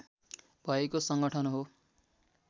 भएको सङ्गठन हो